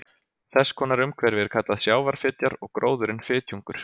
Þess konar umhverfi er kallað sjávarfitjar og gróðurinn fitjungur.